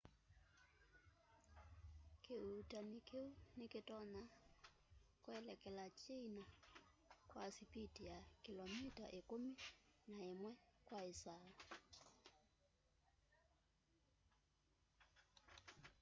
kiuutani kiu ni kitonya kuelekela china kwa sipiti ya kilomita ikumi na imwe kwa isaa